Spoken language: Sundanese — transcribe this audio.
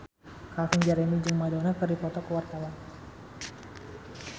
Calvin Jeremy jeung Madonna keur dipoto ku wartawan